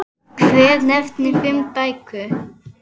Hver nefndi fimm bækur.